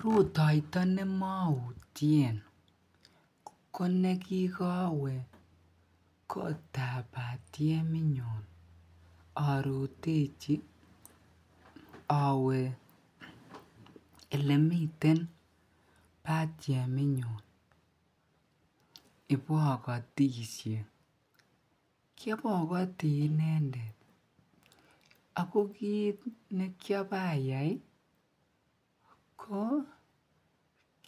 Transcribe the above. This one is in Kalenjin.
rutoito nemoutyeen ko negikowe kotaab batyemit nyuu orutechi owe olemiten batyemit nyuun ibogotisye, kyobogotii inendet ago kiit nekyabayaai ko